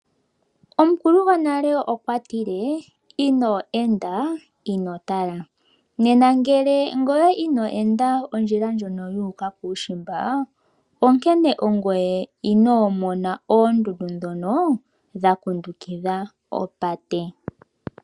Omukulu gonale okwati le, inoo enda ino tala. Ngele ino enda ondjila ndjono yuuka kuushimba ino mona oondundu ndhoka dhakundukidha oopate.